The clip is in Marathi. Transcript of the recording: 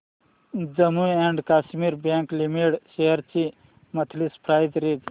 Jammu and Kashmir bank limited shares ची मंथली प्राइस रेंज